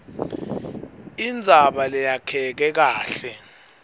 indzaba leyakheke kahle